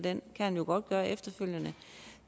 han kan jo godt